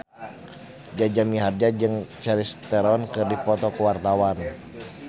Jaja Mihardja jeung Charlize Theron keur dipoto ku wartawan